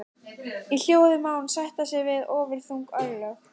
Í hljóði má hann sætta sig við ofurþung örlög.